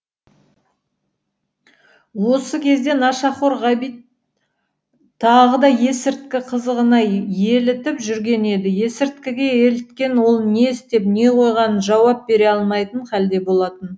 осы кезде нашақор ғабит тағы да есірткі қызығына елітіп жүрген еді есіріткіге еліткен ол не істеп не қойғанына жауап бере алмайтын хәлде болатын